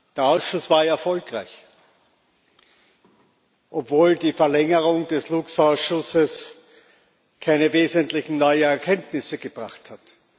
Der Ausschuss war erfolgreich, obwohl die Verlängerung des TAXE Ausschusses keine wesentlichen neuen Erkenntnisse gebracht hat.